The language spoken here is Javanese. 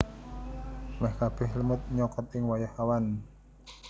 Meh kabeh lemut nyokot ing wayah awan